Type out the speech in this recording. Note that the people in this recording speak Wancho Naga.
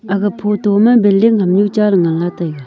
aga photo ma building hamnu che ley ngna lah taiga.